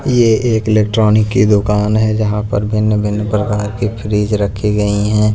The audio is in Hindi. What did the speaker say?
। ये एक इलेक्ट्रॉनिक की दुकान है जहां पर भिन्न-भिन्न प्रकार की फ्रिज रखी गई हैं